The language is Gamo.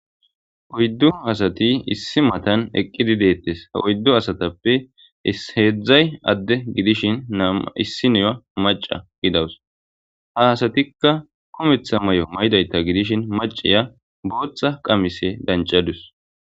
Oydu asati issi matan eqidi detes ha 4 asatappe 3 ade gidish 1niya maca gidawus kumetha mayo mayidayta gidishi macaya botha qamise dancadus be siqotethaza besana